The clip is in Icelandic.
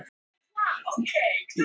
Sigurður